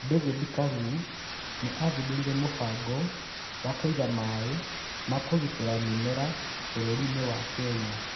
David Kalu nĩ athundũrire mũbango wa kũiga maĩ ma gũitĩrĩria mĩmera bũrũri-inĩ wa Kenya.